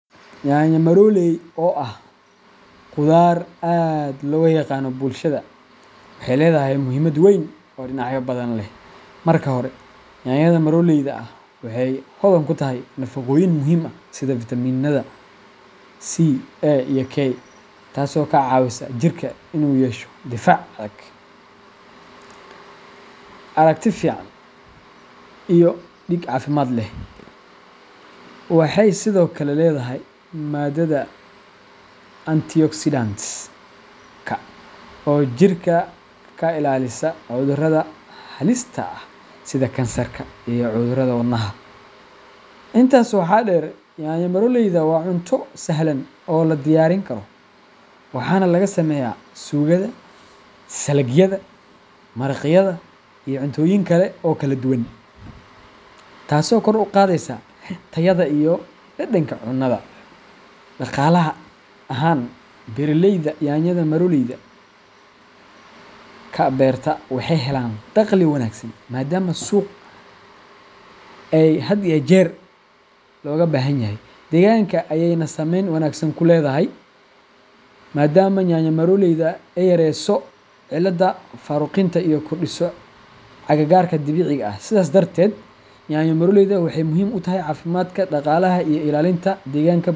Yanyo maroley, oo ah khudaar aad looga yaqaan bulshada, waxay leedahay muhiimad weyn oo dhinacyo badan leh. Marka hore, yanyada maroleyda ah waxay hodan ku tahay nafaqooyin muhiim ah sida fiitamiinada C, A, iyo K, taasoo ka caawisa jirka in uu yeesho difaac adag, aragti fiican, iyo dhiig caafimaad leh. Waxay sidoo kale leedahay maadada antioxidantska oo jirka ka ilaalisa cudurrada halista ah sida kansarka iyo cudurrada wadnaha. Intaas waxaa dheer, yanyo maroleyda waa cunto sahlan oo la diyaarin karo, waxaana laga sameeyaa suugada, saladhyada, maraqyada iyo cuntooyin kale oo kala duwan, taasoo kor u qaadaysa tayada iyo dhadhanka cunnada. Dhaqaalaha ahaan, beeraleyda yanyada maroleyda ka beerta waxay helaan dakhli wanaagsan maadaama suuqa ay had iyo jeer looga baahan yahay. Deegaanka ayayna saameyn wanaagsan ku leedahay maadaama yanyo maroleydu ay yarayso ciidda faaruqinta oo ay kordhiso cagaarka dabiiciga ah. Sidaas darteed, yanyo maroleydu waxay muhiim u tahay caafimaadka, dhaqaalaha, iyo ilaalinta deegaanka.